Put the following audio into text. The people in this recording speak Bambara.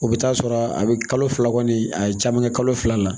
O bɛ taa sɔrɔ a bɛ kalo fila kɔni a ye caman kɛ kalo fila la